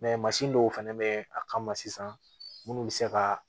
mansin dɔw fɛnɛ bɛ a kama sisan minnu bɛ se ka